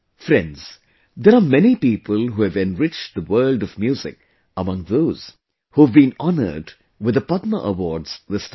Friends, there are many people who have enriched the world of music among those who have been honoured with the Padma Awards this time